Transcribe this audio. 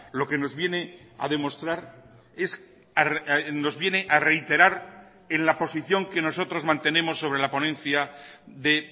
lo que nos viene a demostrar es nos viene a reiterar en la posición que nosotros mantenemos sobre la ponencia de